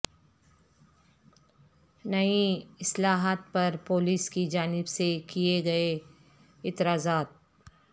نئی اصلاحات پر پولیس کی جانب سے کیے گئے اعتراضات